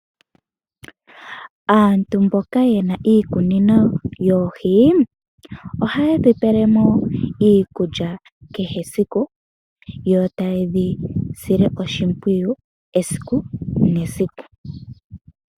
Aantu mboka yena iikunino yoohi, ohayedhi pele mo iikulya kehe esiku, yo taye dhisile oshimpwiyu esiku nesiku.